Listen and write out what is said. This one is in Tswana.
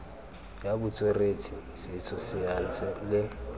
ya botsweretshi setso saense le